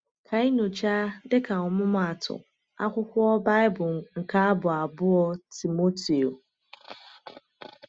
Ka anyị nyochaa, dịka ọmụmaatụ, akwụkwọ Baịbụl nke Abụ abụọ Timoteo.